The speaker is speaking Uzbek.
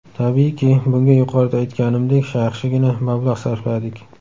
Tabiiyki, bunga yuqorida aytganimdek, yaxshigina mablag‘ sarfladik.